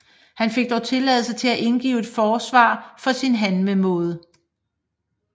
Han fik dog tilladelse til at indgive et forsvar for sin handlemåde